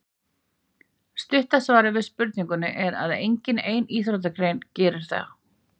Stutta svarið við spurningunni er að engin ein íþróttagrein gerir það.